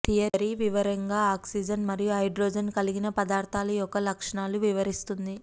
theory వివరంగా oxygen మరియు hydrogen కలిగిన పదార్థాలు యొక్క లక్షణాలు వివరిస్తుంది